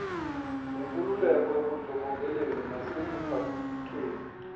lenkululeko ebundlobongeleni nasekuphathweni